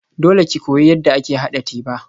Dole ki koyi yadda ake haɗa teba.